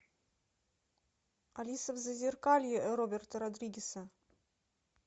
алиса в зазеркалье роберта родригеса